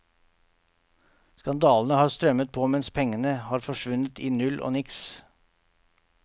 Skandalene har strømmet på mens pengene har forsvunnet i null og niks.